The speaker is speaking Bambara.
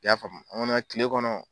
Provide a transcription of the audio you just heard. I y'a faamu kile kɔnɔ